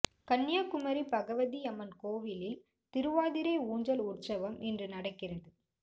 கன்னியாகுமரி பகவதி அம்மன் கோவிலில் திருவாதிரை ஊஞ்சல் உற்சவம் இன்று நடக்கிறது